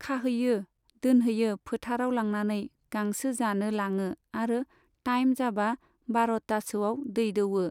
खाहैयो, दोनहैयो फोथाराव लांनानै गांसो जानो लाङो आरो टाइम जाबा बार'तासोआव दै दौओ।